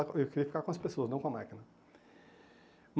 Eu queria ficar com as pessoas, não com a máquina.